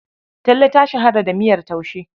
Talle ta shahara da miyar taushe.